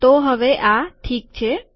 તો હવે આ ઠીક છે